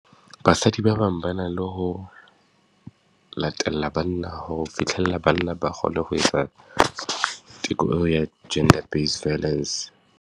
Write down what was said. Basadi ba bang ba na le ho latella banna, ho fitlhella banna ba kgone ho etsa teko eo ya gender base violence.